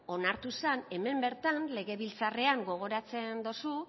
onartu zen hemen bertan legebiltzarrean gogoratzen dozu